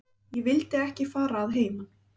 Ég vildi ekki fara að heiman.